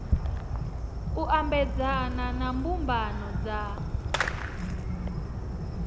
u ambedzana na mbumbano dza